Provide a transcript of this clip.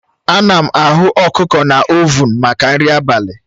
Ana m aghụ ọkụkọ na ovuun maka nri abalị